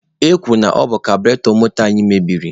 E kwuru na ọ bụ kabụretọ moto anyị meberi.